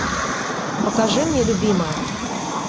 покажи мне любимая